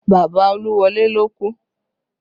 Bàbá Oluwole ló kú